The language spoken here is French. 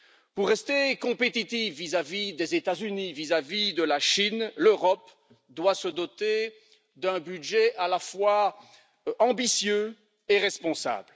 Pour rester compétitive vis à vis des États Unis et de la Chine, l'Europe doit se doter d'un budget à la fois ambitieux et responsable.